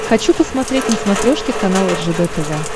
хочу посмотреть на смотрешке канал ржд тв